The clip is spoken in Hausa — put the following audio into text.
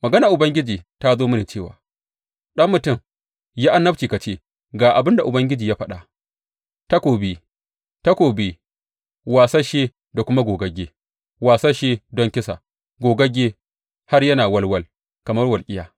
Maganar Ubangiji ta zo mini cewa, Ɗan mutum, yi annabci ka ce, Ga abin da Ubangiji ya faɗa, Takobi, takobi, wasasshe da kuma gogagge, wasasshe don kisa, gogagge har yana walwal kamar walƙiya!